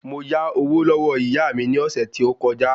Mo yá owó lọ́wọ́ ìyá mi ni ọ̀sẹ̀ tí ó kọ já